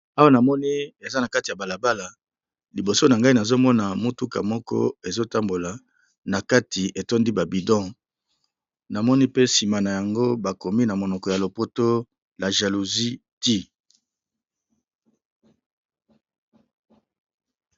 Awa namoni eza na kati ya bala bala liboso na ngai nazo mona motuka moko ezo tambola na kati etondi ba bidon, namoni pe nsima na yango bakomi na monoko ya lopoto la jalousie tue.